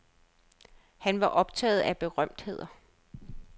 Han var optaget af berømtheder.